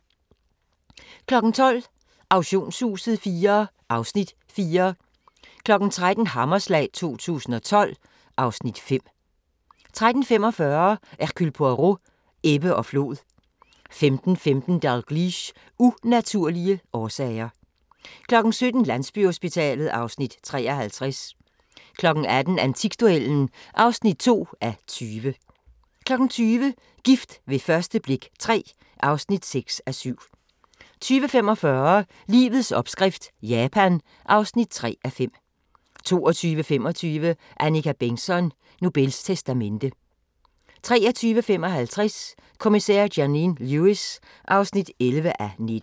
12:00: Auktionshuset IV (Afs. 4) 13:00: Hammerslag 2012 (Afs. 5) 13:45: Hercule Poirot: Ebbe og flod 15:15: Dalgliesh: Unaturlige årsager 17:00: Landsbyhospitalet (Afs. 53) 18:00: Antikduellen (2:20) 20:00: Gift ved første blik III (6:7) 20:45: Livets opskrift – Japan (3:5) 22:25: Annika Bengtzon: Nobels testamente 23:55: Kommissær Janine Lewis (11:19)